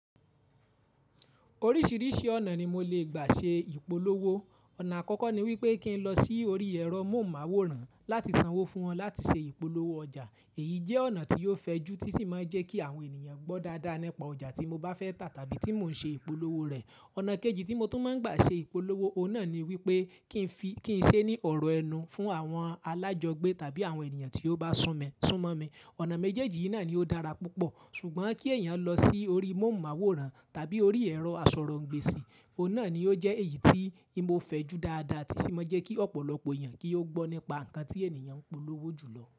Oríṣìíríṣìí ọ̀nà ni mo lè gbà ṣe ìpolówó. Ọ̀nà àkọ́kọ́ ni wípé kí n lọ sí orí ẹ̀rọ mọ̀hunmáwòrán láti sanwó fún wọn láti ṣe ìpolówó ọjà. Èyí jẹ́ ọ̀nà tí ó fẹjú tí sì máa ń jẹ́ kí àwọn ènìyàn gbọ́ dáadáa nípa ọjà tí mo bá fẹ́ tà tàbí tí mò ń ṣe ìpolówó rẹ̀. Ọ̀nà kejì tí mo tún máa ń gbà ṣe ìpolówó, ọ̀un nà náà ni wípé kí n ṣe ní ọ̀rọ̀ ẹnu fún àwọn alájọgbé tàbí àwọn ènìyàn tí ó bá sún mọ̀ mí. Ọ̀nà méjèèjì yìí náà ni ó dára púpọ̀. Ṣùgbọ́n kí èèyàn lọ sí orí mọ̀hunmáwòrán tàbí orí ẹ̀rọ àsọ̀rọ̀-òǹgbésì, ọ̀un náà ni ó jẹ́ èyí tí o fẹjú dáadáa tí sì máa ń jẹ́ kí ọ̀pọ̀lọpọ̀ èèyàn kí ó gbọ́ nípa nǹkan tí ènìyàn ń polówó jù lọ.